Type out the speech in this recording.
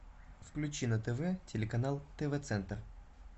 включи на тв телеканал тв центр